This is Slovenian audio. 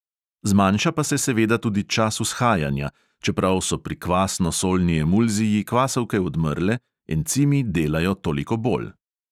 Zmanjša pa se seveda tudi čas vzhajanja, čeprav so pri kvasno solni emulziji kvasovke odmrle, encimi delajo toliko bolj.